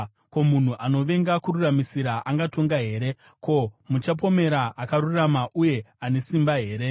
Ko, munhu anovenga kururamisira angatonga here? Ko, muchapomera akarurama uye ane simba here?